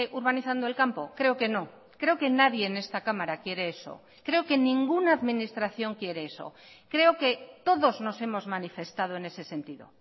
urbanizando el campo creo que no creo que nadie en esta cámara quiere eso creo que ninguna administración quiere eso creo que todos nos hemos manifestado en ese sentido